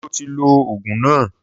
Sọ ti lo Ògùn na?